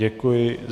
Děkuji.